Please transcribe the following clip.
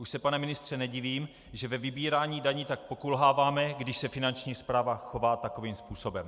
Už se, pane ministře, nedivím, že ve vybírání daní tak pokulháváme, když se Finanční správa chová takovým způsobem.